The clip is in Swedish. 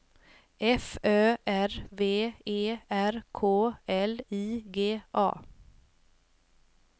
F Ö R V E R K L I G A